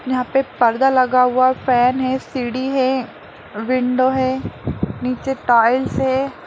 यहाँ पर पर्दा लगा हुआ फैन है सीढ़ी है विंडो है नीचे टॉयज है।